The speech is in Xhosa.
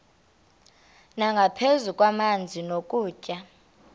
nangaphezu kwamanzi nokutya